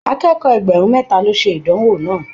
Akẹ́kọ̀ọ́ ẹgbẹrun mẹta lo ṣe ìdánwò náà.